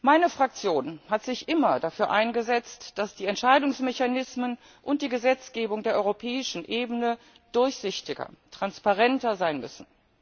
Meine Fraktion hat sich immer dafür eingesetzt, dass die Entscheidungsmechanismen und die Gesetzgebung auf der europäischen Ebene durchsichtiger, transparenter sein müssen.